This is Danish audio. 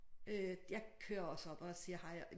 Øh jeg kører også op og siger hej